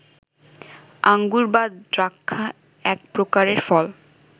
আঙ্গুর বা দ্রাক্ষা এক প্রকারের ফল